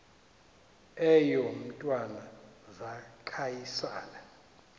eyo mntwana zaquisana